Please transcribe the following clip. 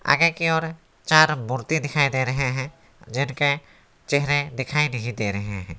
आगे की ओर चार मूर्ति दिखाई दे रहे हैं जिनके चेहरे दिखाई नहीं दे रहे हैं।